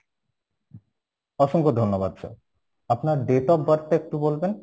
অসংখ্য ধন্যবাদ sir, আপনার date of birth টা একটু বলবেন